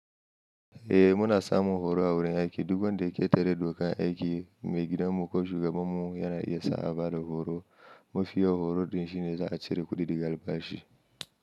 Eh muna samun horo a wurin aiki. Duk da ke tare da dokan aiki, mai gidanmu ko shugabanmu yana iya sa a bada horo. Mafiya horo din shine za a cire kuɗi daga albashi.